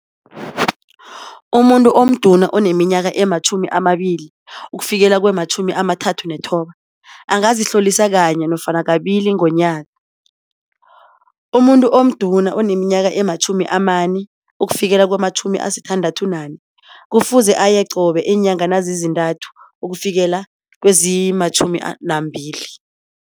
Umuntu omduna oneminyaka ematjhumi amabili ukufikela kwematjhumi amathathu nethoba angazihlolisa kanye nofana kabili ngonyaka. Umuntu omduna oneminyaka ematjhumi amane ukufikela kwematjhumi asithandathu nane kufuze aye qobe iinyanga nazizintathu ukufikela kwezimatjhumi nambili.